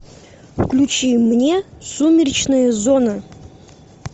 включи мне сумеречная зона